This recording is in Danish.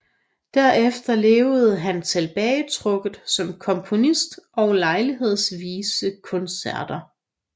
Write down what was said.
Derefter levede han tilbagetrukket som komponist og lejlighedsvise koncerter